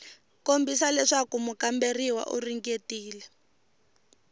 kombisa leswaku mukamberiwa u ringetile